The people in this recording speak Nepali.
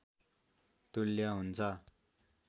तुल्य हुन्छ